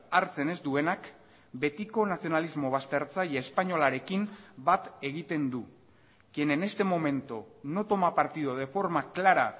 hartzen ez duenak betiko nazionalismo baztertzaile espainolarekin bat egiten du quien en este momento no toma partido de forma clara